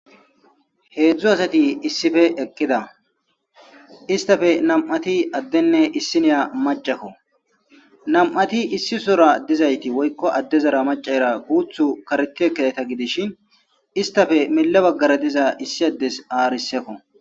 3 asat issippe eqida . Istappe 2 adene isinya macako. 2ti issisora dizayti woyko adezara macayra guthu karet ekidayta gidishn hanko issi adez ariseko